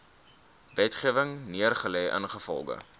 wetgewing neergelê ingevolge